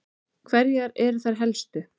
Hverjar eru þær helstu?